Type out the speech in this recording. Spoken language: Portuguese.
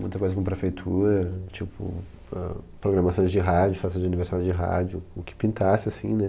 Muita coisa com prefeitura, tipo para, programações de rádio, festas de aniversário de rádio, o que pintasse, assim, né?